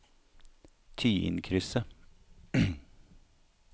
Tyinkrysset